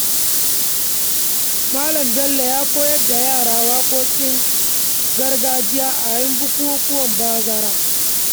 Malam Bello ya koyar da yara waƙoƙin gargajiya a yayin bukukkuwan bazara.